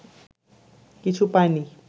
কিছু পায়নি